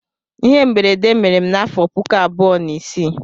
Ihe mberede mere m n'afọ puku abụọ na isii.